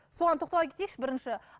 соған тоқтала кетейікші бірінші